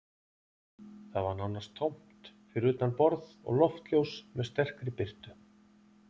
Það var nánast tómt fyrir utan borð og loftljós með sterkri birtu